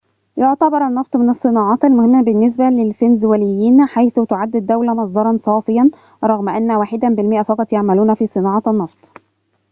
يعتبر النّفط من الصّناعات المهمّة بالنسبة للفنزويليين حيث تعدّ الدّولة مصدّراً صافياً رغم أنّ واحد بالمئة فقط يعملون في صناعة النّفط